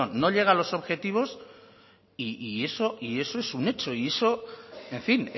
no llega a los objetivos y eso es un hecho y eso en fin